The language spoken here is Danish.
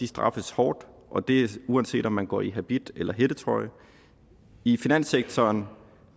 straffes hårdt og det er uanset om man går i habit eller hættetrøje i finanssektoren